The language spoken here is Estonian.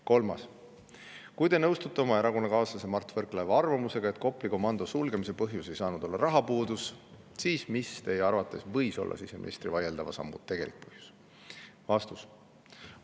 Kolmas küsimus: "Kui te nõustute oma erakonnakaaslase Mart Võrklaeva arvamusega, et Kopli komando sulgemise põhjus ei saanud olla rahapuudus, siis mis Teie arvates võis olla siseministri vaieldava sammu tegelik põhjus?